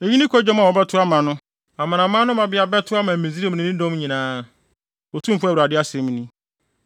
“Eyi ne kwadwom a wɔbɛto ama no. Amanaman no mmabea bɛto ama Misraim ne ne dɔm nyinaa, Otumfo Awurade asɛm ni.”